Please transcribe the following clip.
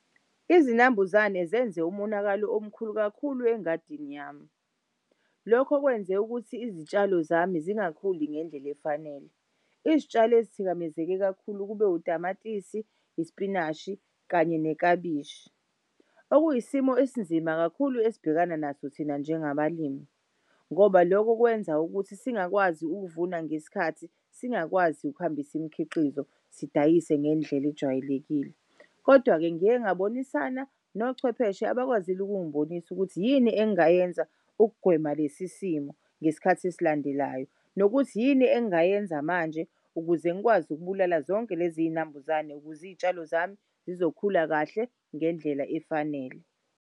Izinambuzane zenze umonakalo omkhulu kakhulu engadini yami. Lokho kwenze ukuthi izitshalo zami zingakhuli ngendlel'efanele. Izitshalo elithikamezeke kakhulu kube utamatisi, ispinashi, kanye nekabishi. Okuyisimo esinzima kakhulu esibhekana naso thina njengabalimi ngoba loko kwenza ukuthi singakwazi ukuvuna ngesikhathi singakwazi ukuhambisa imikhiqizo sidayise ngendlela ejwayelekile. Kodwa-ke ngiye ngabonisa nochwepheshe abakwazile ukungibonisa ukuthi yini engayenza ukugwema lesisimo ngesikhathi esilandelayo nokuthi yini engayenza manje ukuze ngikwazi ukubulala zonke lezizinambuzane ukuze iy'tshalo zami zizokhula kahle ngendlela efanele.